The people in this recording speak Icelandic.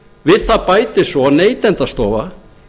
við það bætist svo að neytendastofa